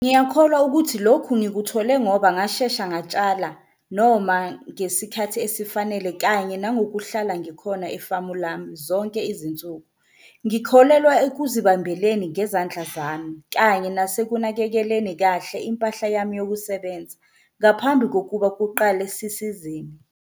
Ngiyakholwa ukuthi lokhu ngikuthole ngoba ngashesha ngatshala noma ngesikhathi esifanele kanye nangokuhlala ngikhona efamu lami zonke izinsuku. Ngikholelwa ekuzibambeleni ngezandla zami kanye nasekunakekeleni kahle impahla yami yokusebenza ngaphambi kokuba kuqale sisizini.